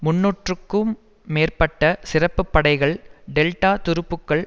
முன்னூறுக்கு மேற்பட்ட சிறப்பு படைகள் டெல்டா துருப்புக்கள்